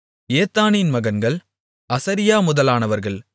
ஏத்தானின் மகன்கள் அசரியா முதலானவர்கள்